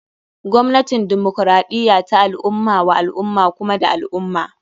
Gwamnatin demokaraɗiya ta al ummah wa al ummah kuma da al ummah.